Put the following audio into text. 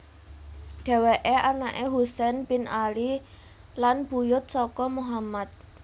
Dhéwéké anaké Husain bin Ali lan buyut saka Muhammad